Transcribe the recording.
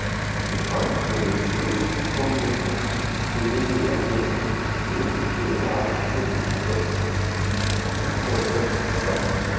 Hún fann fyrir fullkomnum friði í vatninu og upplifði atburði kvöldsins á hundraðföldum hraða.